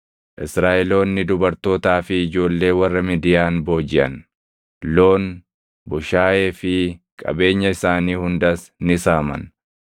Israaʼeloonni dubartootaa fi ijoollee warra Midiyaan boojiʼan; loon, bushaayee fi qabeenya isaanii hundas ni saaman.